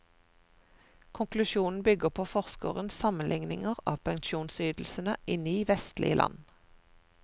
Konklusjonen bygger på forskerens sammenligninger av pensjonsytelsene i ni vestlige land.